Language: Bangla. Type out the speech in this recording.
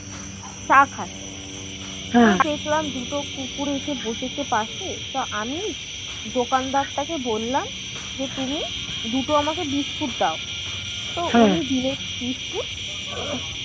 চা খাচ্ছি দুটো কুকুর এসে বসেছে পাশে তা আমি দোকানদার টাকে বললাম যে তুমি দুটো আমাকে বিস্কুট দাও তো বিস্কুট